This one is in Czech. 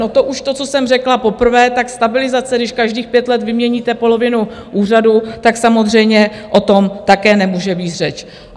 No to už to, co jsem řekla poprvé, tak stabilizace, když každých pět let vyměníte polovinu úřadu, tak samozřejmě o tom také nemůže být řeč.